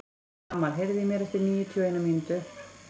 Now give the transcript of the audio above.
Amal, heyrðu í mér eftir níutíu og eina mínútur.